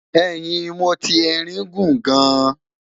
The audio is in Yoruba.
ẹhìn moti erin guun gaan